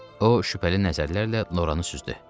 O şübhəli nəzərlərlə Loranı süzdü.